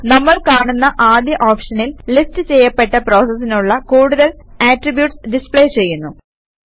നമ്മൾ കാണുന്ന ആദ്യ ഓപ്ഷനിൽ ലിസ്റ്റ് ചെയ്യപ്പെട്ട പ്രോസസിനുള്ള കൂടുതൽ ആട്രിബ്യൂട്ട്സ് ഡിസ്പ്ലേ ചെയ്യുന്നു